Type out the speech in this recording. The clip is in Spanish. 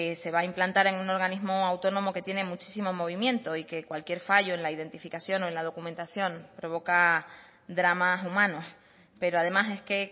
se va a implantar en un organismo autónomo que tiene muchísimo movimiento y que cualquier fallo en la identificación o en la documentación provoca dramas humanos pero además es que